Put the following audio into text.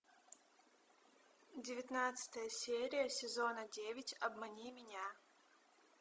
девятнадцатая серия сезона девять обмани меня